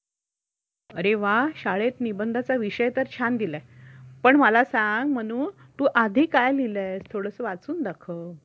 अरे वा शाळेत निबंधाचा विषय तर छान दिलाय, पण मला सांग मनू तू आधी काय लिहिलं आहेस थोडस वाचून दाखव.